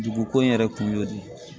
Dugu ko in yɛrɛ kun y'o de ye